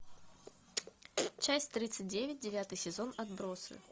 часть тридцать девять девятый сезон отбросы